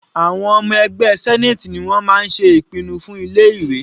Àwọn ọmọ ẹgbẹ́ senate ni wọ́n máa ń ṣe ìpinnu fún ilé ìwé.